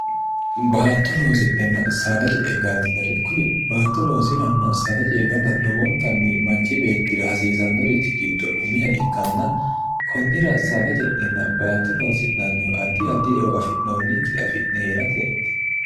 baatto loosi'nhenna saada je'e galdinore kuli baatto loosiranna sada jee gala lowontanni manchi beettira hasiisannorichi giddo umiha ikkanna konnira saada je'nenna baatto loosi'nannihu addi addi ewo afi'noonnikkiri afi'ne hee'rate eti